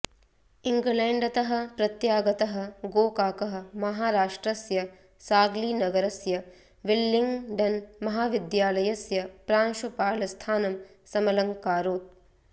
इङ्ग्लेण्डतः प्रत्यागतः गोकाकः माहारष्ट्रस्य साग्लीनगरस्य विल्लिङ्ग्डन् महाविद्यालस्य प्रांशुपालस्थानं समलङ्कारोत्